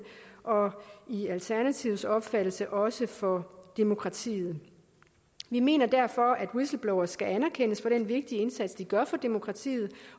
og i alternativets opfattelse også for demokratiet vi mener derfor at whistleblowere skal anerkendes for den vigtige indsats de gør for demokratiet